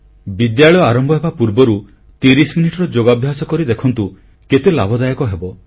ବିଦ୍ୟାଳୟ ଆରମ୍ଭ ହେବା ପୂର୍ବରୁ 30 ମିନିଟ୍ ଯୋଗାଭ୍ୟାସ କରି ଦେଖନ୍ତୁ କେତେ ଲାଭଦାୟକ ହେବ